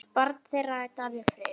Barn þeirra er Darri Freyr.